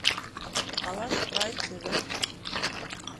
алаш прайд тв